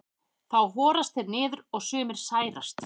þá horast þeir niður og sumir særast